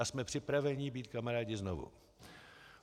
A jsme připraveni být kamarády znovu.